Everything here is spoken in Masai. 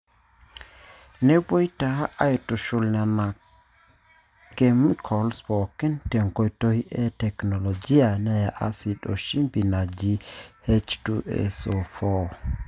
Nepuoi taa aitushul Nena kemikols pooki te nkoitoi e teknolojia neya asid o shimbi naji H2SO4.